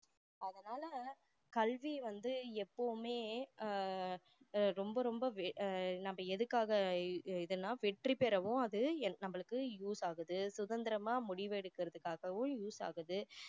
அதனால கல்வியை வந்து எப்போவுமே ஆஹ் ரொம்ப ரொம்ப அஹ் நம்ம எதுக்காக இதெல்லாம் வெற்றி பெறவோ அது நம்மாளுக்கு use ஆகுது சுதந்திரமா முடிவு எடுக்குறதுக்காவும் use ஆகுது